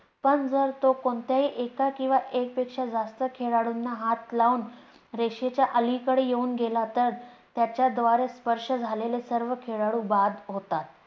पण जर तो कोणत्याही एका किंवा एक पेक्षा जास्त खेळाडूंना हात लावून रेषेच्या अलीकडे येऊन गेला तर त्याच्या द्वारे स्पर्श झालेले सर्व खेळlडू बाद होतात.